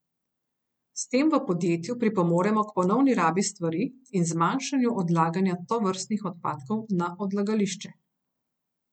S tem v podjetju pripomoremo k ponovni rabi stvari in zmanjšanju odlaganja tovrstnih odpadkov na odlagališče.